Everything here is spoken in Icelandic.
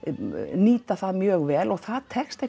nýta það mjög vel og það tekst